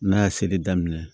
N'a ye seli daminɛ